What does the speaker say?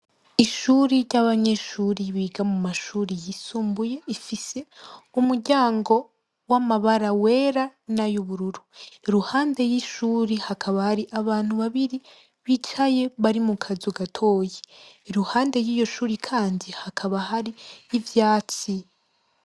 Ishure ryabanyeshure biga mumashure yisumbuye ifise umuryango wamabara yera nayubururu iruhande yishure hakaba hari abantu babiri bicaye bari mukazu gatoya iruhande yiryoshure kandi hakaba hari nivyatsi